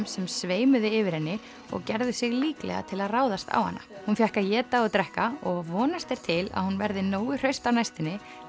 sem sveimuðu yfir henni og gerðu sig líklega til að ráðast á hana hún fékk að éta og drekka og vonast er til að hún verði nógu hraust á næstunni